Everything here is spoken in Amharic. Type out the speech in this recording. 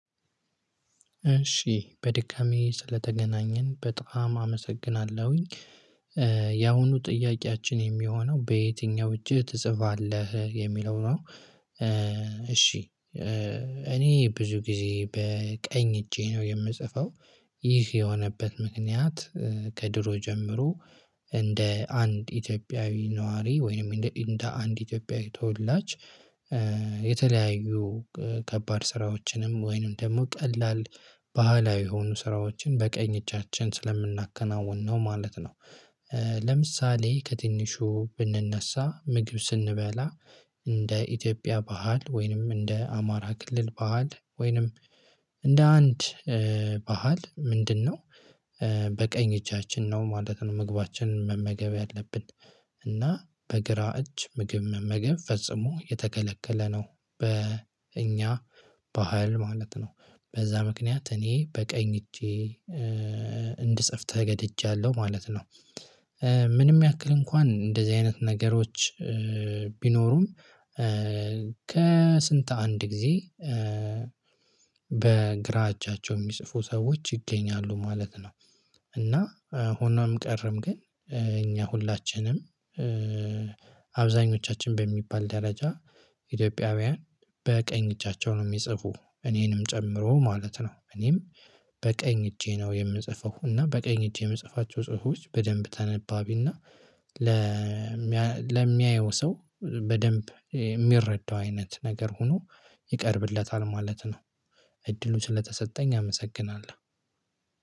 እሺ በድጋሜ ስለተገናኘን በጣም አመሰግናለሁኝ ያሁኑ ጥያቄያችን የሚሆነው በየትኛው እጅህ ትጽፋለህ የሚለው ነው? እሺ እኔ ብዙ ጊዜ በቀኝ እጄ ነው የምጽፈው። ይህ የሆነበት ምክንያት ከድሮ ጀምሮ እንደ አንድ ኢትዮጵያዊ ነዋሪ ወይም እንደ አንድ ኢትዮጵያዊ ተወላጅ የተለያዩ ከባድ ስራዎችንም ወይንም ደግሞ ቀላል ባህላዊ የሆኑ ስራዎችን በቀኝ እጫችን ስለምናከናውን ነው ማለት ነው። ለምሳሌ ከትንሹ ብንነሳ ምግብ ስንበላ እንደ ኢትዮጵያ ባህል ወይንም እንደ አማራ ክልል ባህል ወይንም እንደ አንድ ባህል ምንድነው? በቀኝ እጃችን ነው ማለት ነው ምግባችንን መመገብ ያለብን እና በግራ እጅ ምግብ መመገብ ፈጽሞ የተከለከለ ነው። በእኛ ባህል ማለት ነው በዛ ምክንያት እኔ በቀኝ እጄ እንድጽፍ ተገደጃለሁ ማለት ነው። ምንም ያክል እንኳን እንደዚህ አይነት ነገሮች ቢኖሩም ከስንት አንድ ጊዜ በግራ እጃቸው እሚጽፉ ሰዎች ይገኛሉ ማለት ነው። እና ሆኖም ቀረም ግን እኛ ሁላችንም አብዛኞቻችን በሚባል ደረጃ ኢትዮጵያውያን በቀኝ እጃቸው ነው እሚጽፉ እኔንም ጨምሮ ማለት ነው። እኔም በቀኝ እጄ ነው የምጽፈው እና በቀኝ እጄ እምጽፋቸው ጽሁፎች በደንብ ተነባቢ እና ለሚያየው ሰው በደንብ እሚረዳው አይነት ነገር ሁኖ ይቀርብለታል ማለት ነው። እድሉ ስለተሰጠኝ አመሰግናለሁ